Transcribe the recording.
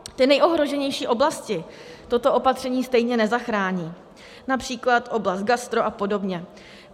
Ty nejohroženější oblasti toto opatření stejně nezachrání, například oblast gastro a podobně.